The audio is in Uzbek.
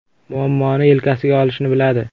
Muammoni yelkasiga olishni biladi.